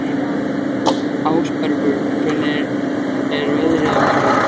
Ásbergur, hvernig er veðrið á morgun?